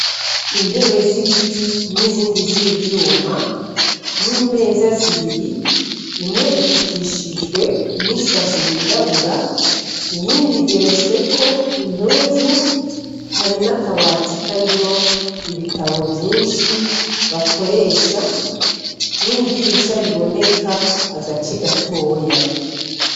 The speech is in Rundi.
Intebe z'ibiti n'izindi z'ivyuma n'imeza zibiri imwe ifukishijwe n'isashe yirabura iyindi igeretsweko impuzu hari n'akabati karimwo ibitabo vyinshi bakoresha n'idirisha riboneka agace gatoya.